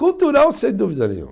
Cultural, sem dúvida nenhuma.